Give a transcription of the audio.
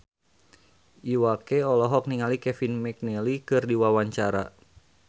Iwa K olohok ningali Kevin McNally keur diwawancara